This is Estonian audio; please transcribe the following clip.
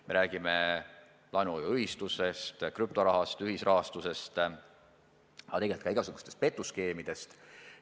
Me räägime laenuühistutest, krüptorahast, ühisrahastusest, aga tegelikult ka igasugustest petuskeemidest.